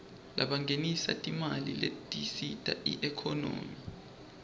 labangenisa timali letisita iekhonomy